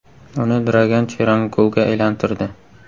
Uni Dragan Cheran golga aylantirdi.